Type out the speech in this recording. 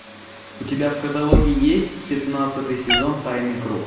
у тебя в каталоге есть пятнадцатый сезон тайный круг